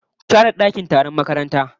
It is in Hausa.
Ku share dakin taron makaranta